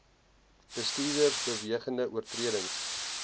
bestuurders bewegende oortredings